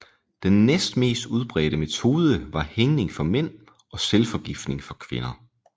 Den næstmest udbredte metode var hængning for mænd og selvforgiftning for kvinder